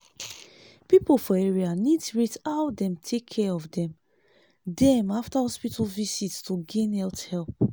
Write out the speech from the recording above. people for area need rate how dem take care of dem dem after hospital visit to gain health help.